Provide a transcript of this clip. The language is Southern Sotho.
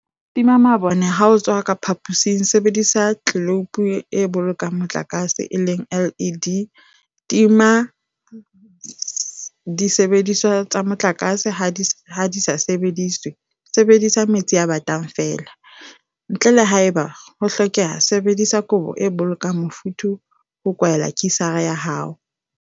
Tima mabone ha o tswa ka phaposing Sebedisa ditleloupo tse Bolokang Motlakase, LED, Tima disebediswa tsa motlakase ha di sa sebediswe Sebedisa metsi a batang feela, ntle le haeba ho hlokeha Sebedisa kobo e bolokang mofuthu ho kwaela kisara ya hao.